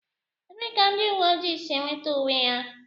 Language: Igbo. Ebee ka ndị uwe ojii si enweta uwe ha